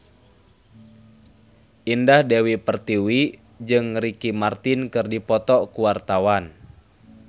Indah Dewi Pertiwi jeung Ricky Martin keur dipoto ku wartawan